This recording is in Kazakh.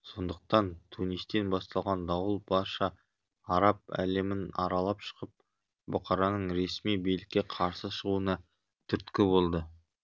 сондықтан тунистен басталған дауыл барша араб әлемін аралап шығып бұқараның ресми билікке қарсы шығуына түрткі болды